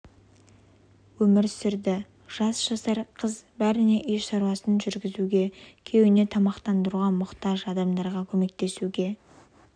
өмір сүрді жас жасар қыз бәріне үй шаруасын жүргізуге күйеуін де тамақтандыруға мұқтаж адамдарға көмектесуге